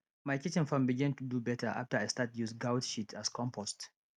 my kitchen farm begin do better after i start use goat shit as compost